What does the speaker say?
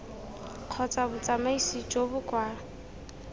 kgotsa botsamaisi jo bo kwa